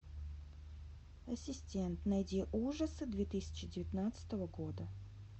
ассистент найди ужасы две тысячи девятнадцатого года